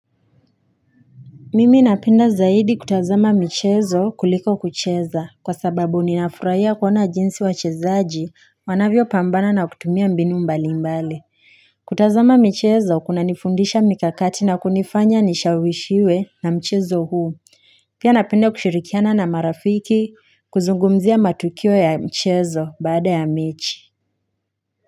Mimi napenda zaidi kutazama michezo kuliko kucheza kwa sababu ninafurahia kuona jinsi wachezaji wanavyopambana na kutumia mbini mbali mbali. Kutazama michezo, kunanifundisha mikakati na kunifanya nishawishiwe na mchezo huu. Pia napenda kushirikiana na marafiki, kuzugumzia matukio ya mchezo baada ya mechi.